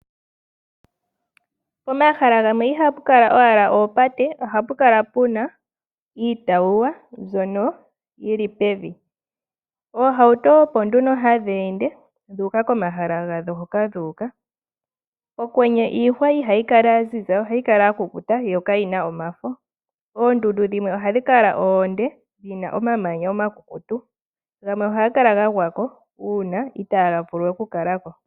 Pomahala gamwe ihapu kala owala oopate, ohapu kala puna iitawuwa mbyono yili pevi. Oohauto opo nduno hadhi ende dhuuka komahala gadho hoka dhuuka. Okwenye iihwa ihayi kala ya ziza, ohayi kala ya kukuta yo ka yina omafo. Oondundu dhimwe ohadhi kala oonde, dhina omamanya omakukutu, gamwe ohaga kala ga gwako uuna itaga vulu we okukala ko.